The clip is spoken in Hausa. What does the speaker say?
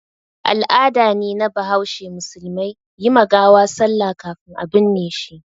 Al'ada ne na bahaushe musulmai yi ma gawa sallah kafin a binne shi.